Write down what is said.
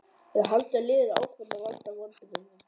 Eða halda liðin áfram að valda vonbrigðum?